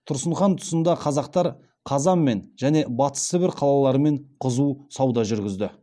тұрсын хан тұсында қазақтар қазанмен және батыс сібір қалаларымен қызу сауда жүргізді